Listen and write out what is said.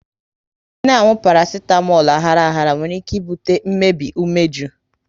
ị na-anwụ parasitamolu aghara aghara nwere ike ibute mmbei umeju